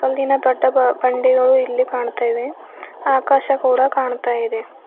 ಹಿಂದಿನ ದೊಡ್ಡ ಬ ಬಂಡೆಗಳು ಇಲ್ಲಿ ಕಾಣತಾ ಇವೆ ಆಕಾಶ ಕೂಡ ಕಾಣ್ತಯಿದೆ.